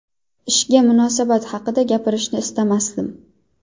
Ishga munosabat haqida gapirishni istamasdim.